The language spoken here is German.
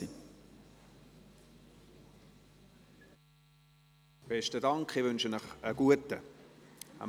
Besten Dank, ich wünsche Ihnen einen guten Appetit.